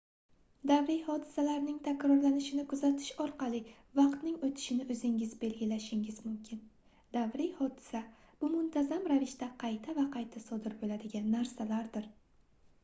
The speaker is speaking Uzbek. davriy hodisaning takrorlanishini kuzatish orqali vaqtning oʻtishini oʻzingiz belgilashingiz mumkin davriy hodisa bu muntazam ravishda qayta va qayta sodir boʻladigan narsadir